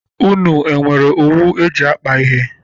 Unu nwere owu eji akpa ihe?